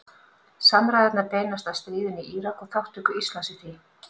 Samræðurnar beinast að stríðinu í Írak og þátttöku Íslands í því.